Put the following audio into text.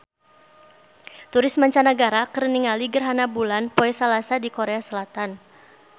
Turis mancanagara keur ningali gerhana bulan poe Salasa di Korea Selatan